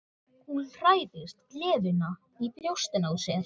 Hún hræðist gleðina í brjóstinu á sér.